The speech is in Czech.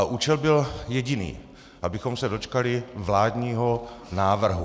A účel byl jediný - abychom se dočkali vládního návrhu.